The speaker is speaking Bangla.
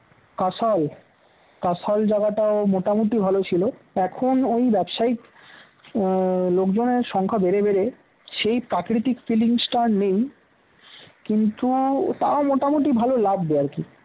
কাঁশাল কাঁশাল জায়গাটাও মোটামুটি ভাল ছিল এখন ওই ব্যবসায়িক আহ লোকজনের সংখ্যা বেড়ে বেড়ে সেই প্রাকৃতিক feelings টা আর নেই কিন্তু তাও মোটামুটি ভালো লাগবে আর কি